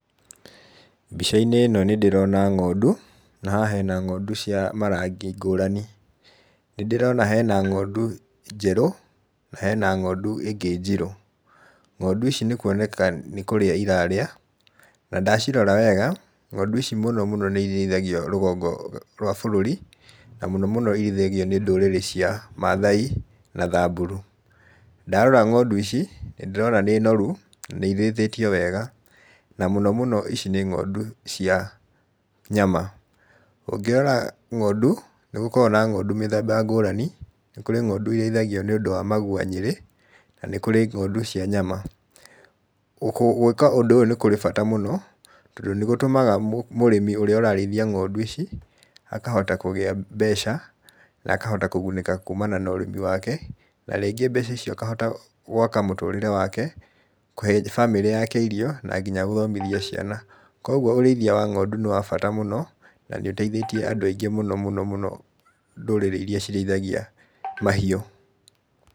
Mbica-inĩ ĩno nĩ ndĩrona ng'ondu, na haha hena ng'ondu cia marangi ngũrani, nĩndĩrona hena ng'ondu njerũ, na hena ng'ondu ĩngĩ njirũ. Ng'ondu ici nĩ kwoneka nĩ kũrĩa irarĩa, na ndacirora wega, ng'ondu ici mũno mũno nĩ irĩithagio rũgongo rwa bũrũri, na mũno mũno irĩithagio nĩ ndũrĩrĩ cia mathai na thamburu. Ndarora ng'ondu ici nĩ ndĩrona nĩ noru, na nĩ irĩithĩtio wega na mũno mũno ici nĩ ng'ondu cia nyama. Ũngĩrora ng'ondu, nĩ gũkoragwo na ng'ondu mĩthemba ngũrani, nĩ kũrĩ ng'ondu irĩithagio nĩũndũ wa magwanyĩrĩ na nĩ kũrĩ ng'ondu cia nyama. Gwĩka ũndũ ũyũ nĩ kũrĩ bata mũno, tondũ nĩ gũtũmaga mũrĩmi ũrĩa ũrarĩithia ng'ondu ici akahota kũgĩa mbeca, na akahota kũgunĩka kumana na ũrĩmi wake, na rĩngĩ mbeca icio akahota gwaka mũtũrĩre wake, kũhe bamĩrĩ yake irio na nginya gũthomithia ciana. Koguo ũrĩithia wa ng'ondu nĩ wa bata mũno, na nĩ ũteithĩtie andũ aingĩ mũno mũno mũno ndũrĩrĩ iria cirĩithagia mahiũ.